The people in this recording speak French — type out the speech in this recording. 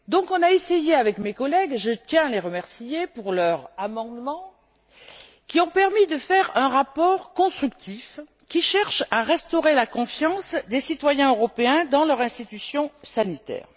On a donc essayé avec mes collègues et je tiens à les remercier pour leurs amendements de faire un rapport constructif qui cherche à restaurer la confiance des citoyens européens dans leur institution sanitaire.